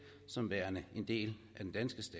som værende en del